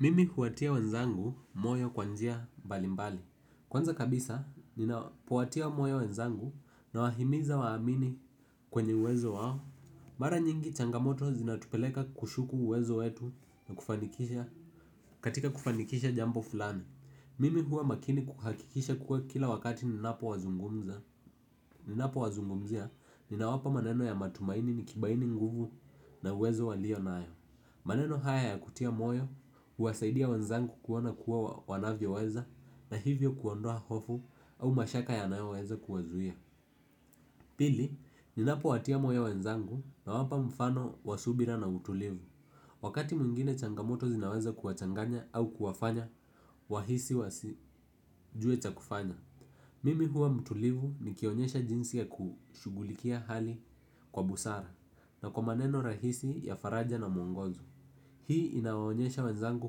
Mimi huwatia wenzangu moyo kwa njia mbalimbali. Kwanza kabisa, ninapowatia moyo wenzangu nawahimiza waamini kwenye uwezo wao. Mara nyingi changamoto zinatupeleka kushuku uwezo wetu na kufanikisha katika kufanikisha jambo fulani. Mimi huwa makini kuhakikisha kuwa kila wakati ninapo wazungumza. Ninapo wazungumzia, ninawapa maneno ya matumaini nikibaini nguvu na uwezo walionayo. Maneno haya ya kutia moyo, uwasaidia wenzangu kuona kuwa wanavyoweza na hivyo kuondoa hofu au mashaka yanayoweza kuwazuia. Pili, ninapowatia moyo wenzangu nawapa mfano wa subira na utulivu. Wakati mwingine changamoto zinaweza kuwachanganya au kuwafanya, wahisi wasijue cha kufanya. Mimi huwa mtulivu nikionyesha jinsi ya kushugulikia hali kwa busara na kwa maneno rahisi ya faraja na mwongozo. Hii inawaonyesha wenzangu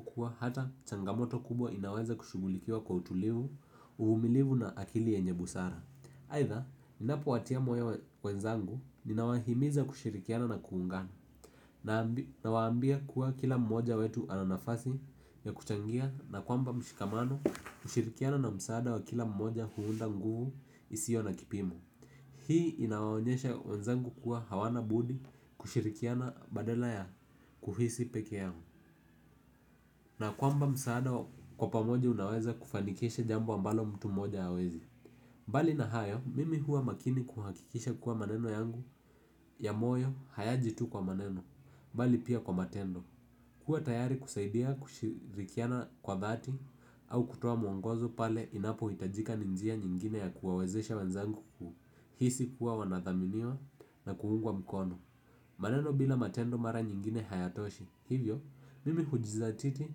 kuwa hata changamoto kubwa inaweza kushughulikiwa kwa utulivu, uvumilivu na akili yenye busara. Aidha, ninapowatia moyo wenzangu, ninawahimiza kushirikiana na kuungana na nawaambia kuwa kila mmoja wetu ana nafasi ya kuchangia na kwamba mshikamano kushirikiana na msaada wa kila mmoja huunda nguvu isiyo na kipimo. Hii inawaonyesha wenzangu kuwa hawana budi kushirikiana badala ya kuhisi peke yao na kwamba msaada kwa pamoja unaweza kufanikisha jambo ambalo mtu mmoja hawezi. Mbali na hayo, mimi huwa makini kuhakikisha kuwa maneno yangu ya moyo hayaji tu kwa maneno bali pia kwa matendo. Kuwa tayari kusaidia kushirikiana kwa dhati au kutoa mwongozo pale inapohitajika ni njia nyingine ya kuwawezesha wenzangu ku hisi kuwa wanathaminiwa na kuungwa mkono. Maneno bila matendo mara nyingine hayatoshi. Hivyo, mimi hujizatiti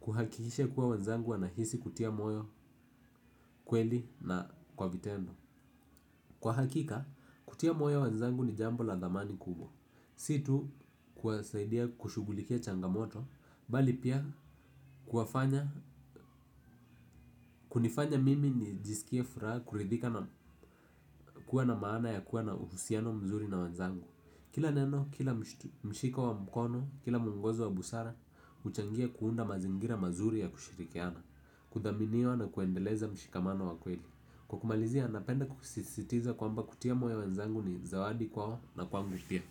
kuhakikisha kuwa wenzangu wanahisi kutia moyo kweli na kwa vitendo. Kwa hakika, kutia moyo wenzangu ni jambo la dhamani kubwa. Si tu, kuwasaidia kushughulikia changamoto bali pia kuwafanya kunifanya mimi nijisikie furaha kuridhika na kuwa na maana ya kuwa na uhusiano mzuri na wenzangu. Kila neno, kila mshiko wa mkono, kila mwongozo wa busara uchangia kuunda mazingira mazuri ya kushirikiana kudhaminiwa na kuendeleza mshikamano wa kweli. Kwa kumalizia napenda kusisitiza kwamba kutia moyo wenzangu ni zawadi kwao na kwangu pia.